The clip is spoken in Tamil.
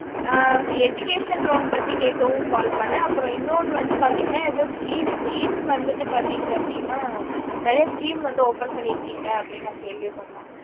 ஆஹ் educational loan பத்தி கேட்கறதுக்கும் call பண்ணேன் அப்றம் இன்னொன்னு வந்து எதோ scheme. scheme வந்து பாத்தாங்க அப்புடின்னா நேரிய scheme வந்து open பண்ணிருக்கீங்க அப்புடின்னு ந கேள்விப்பட்டேன்